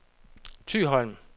Thyholm